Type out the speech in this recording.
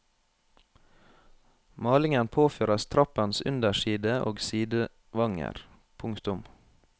Malingen påføres trappens underside og sidevanger. punktum